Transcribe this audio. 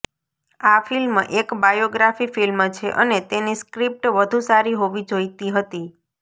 આ ફિલ્મ એક biography film છે અને તેની સ્ક્રિપ્ટ વધુ સારી હોવી જોઇતી હતી